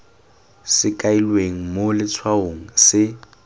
se kailweng mo letshwaong se